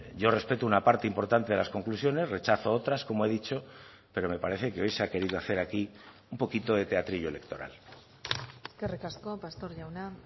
yo respeto una parte importante de las conclusiones rechazo otras como he dicho pero me parece que hoy se ha querido hacer aquí un poquito de teatrillo electoral eskerrik asko pastor jauna